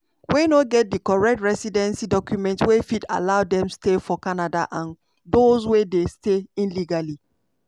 wey no get di correct residency documents wey fit allow dem stay for canada and dose wey dey stay illegally.